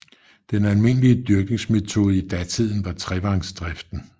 Den almindelige dyrkningsmetode i datiden var trevangsdriften